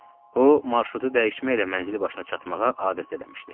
O marşrutu dəyişməklə mənzili başına çatmağa adət eləmişdi.